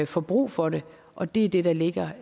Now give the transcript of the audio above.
får brug for det og det er det der ligger